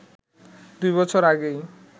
দুই বছর আগেই